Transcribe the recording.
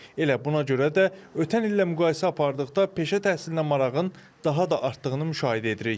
Elə buna görə də ötən illə müqayisə apardıqda peşə təhsilinə marağın daha da artdığını müşahidə edirik.